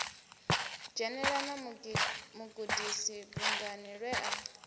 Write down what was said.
dzhenela mugudisi bungani lwe a